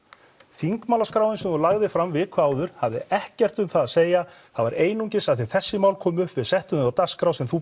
þingmálaskráin sem þú lagðir fram viku áður hafði ekkert um það að segja það var einungis að þessi mál komu upp við settum þau á dagskrá sem þú